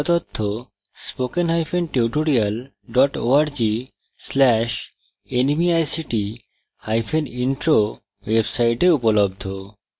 এই সম্বন্ধে আরও তথ্য spoken hyphen tutorial dot org slash nmeict hyphen intro ওয়েবসাইটে উপলব্ধ